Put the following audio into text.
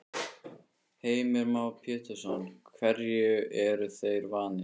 Heimir Már Pétursson: Hverju eru þeir vanir?